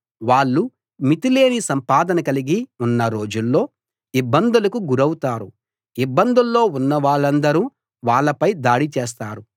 వాళ్ళు మితిలేని సంపాదన కలిగి ఉన్న రోజుల్లో ఇబ్బందులకు గురౌతారు ఇబ్బందుల్లో ఉన్నవాళ్ళందరూ వాళ్ళపై దాడి చేస్తారు